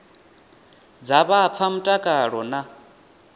dza vha fha mutakalo na